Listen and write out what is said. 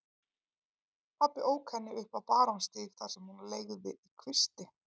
Pabbi ók henni upp á Barónsstíg þar sem hún leigði í kvisti.